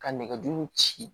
Ka nɛgɛjuru ci